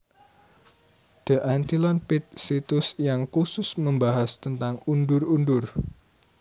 The Antlion Pit situs yang khusus membahas tentang undur undur